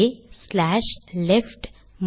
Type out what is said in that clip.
க் slash left